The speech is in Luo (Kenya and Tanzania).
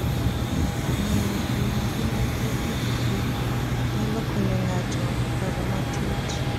Ng'iyo gi ngima gi pikipiki nyalo konyo ng'ato paro matut.